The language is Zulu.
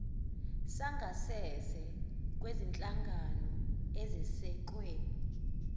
sangasese kwezinhlangano ezesekwe